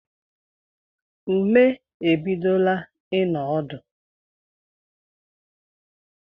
Ume ebidola ino ọdụ